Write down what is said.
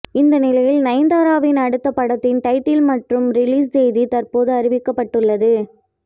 இந்த நிலையில் நயன்தாராவின் அடுத்த படத்தின் டைட்டில் மற்றும் ரிலீஸ் தேதி தற்போது அறிவிக்கப்பட்டுள்ளது